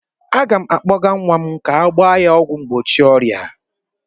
Aga m akpọga nwa m ka ọ gbaa ọgwụ mgbochi ọrịa.